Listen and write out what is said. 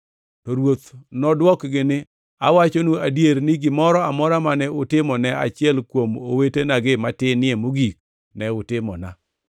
“To Ruoth nodwokgi ni, ‘Awachonu adier ni, gimoro amora mane utimo ne achiel kuom owetenagi matinie mogik, ne utimona.’